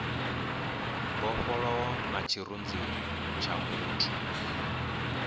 mbofholowo na tshirunzi tsha muthu